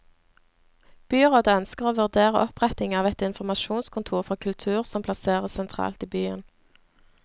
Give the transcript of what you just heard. Byrådet ønsker å vurdere oppretting av et informasjonskontor for kultur som plasseres sentralt i byen.